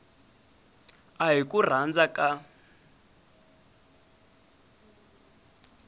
a hi ku rhandza ka